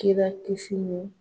Kira kisi ni